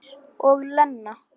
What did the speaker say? Eins og Lena!